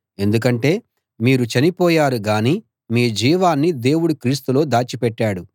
ఎందుకంటే మీరు చనిపోయారు గానీ మీ జీవాన్ని దేవుడు క్రీస్తులో దాచి పెట్టాడు